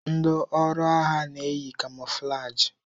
Ndi ọrụ agha na-eyi kamọflajị.